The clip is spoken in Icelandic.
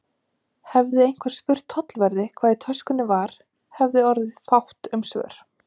Hefði einhver spurt tollverði, hvað í töskunni var, hefði orðið fátt um svör.